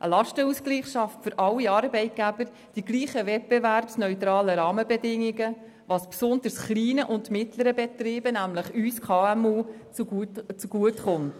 Der Lastenausgleich schafft für alle Arbeitgeber dieselben, wettbewerbsneutralen Rahmenbedingungen, was besonders mittleren und kleinen Betrieben – nämlich uns KMU – zugutekommt.